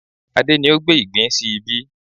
Adé ni ó gbé ìgbín sí ibí